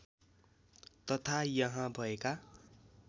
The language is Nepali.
तथा यहाँ भएका